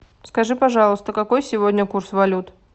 скажи пожалуйста какой сегодня курс валют